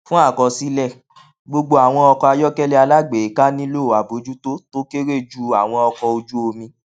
fún àkọsílẹ gbogbo àwọn ọkọ ayọkẹlẹ alágbèéká nílò àbójútó tó kéré ju àwọn ọkọ ojú omi